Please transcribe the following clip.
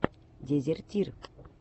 дезертир